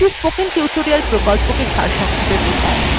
এটি spoken tutorial প্রকল্পটি সারসংক্ষেপে বোঝায়